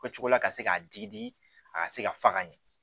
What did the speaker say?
Fɔ cogo la ka se k'a digi di a ka se ka faga ɲɛ